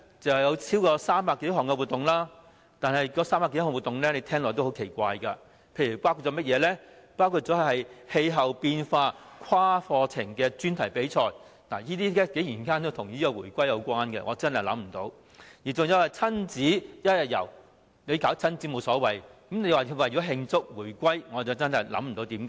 共有超過300項活動，但是，這300多項活動聽起來十分奇怪，其中包括"氣候變化跨課程專題比賽"，這竟然與回歸有關，我真的想不通；還有"親子一日遊"，舉辦親子活動無妨，但說是為了慶祝回歸，我真的百思不得其解。